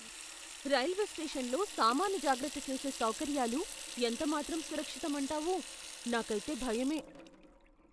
Railway స్టేషన్లో సామాను జాగ్రత్త చేసే సౌకర్యాలు ఎంతమాత్రం సురక్షితం అంటావు? నాకైతే భయమే!